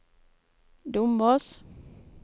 Dombås